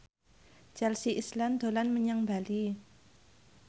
Chelsea Islan dolan menyang Bali